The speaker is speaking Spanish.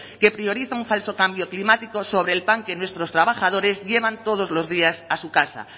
que prioriza un falso cambio climático sobre el pan que nuestros trabajadores llevan todos los días a su casa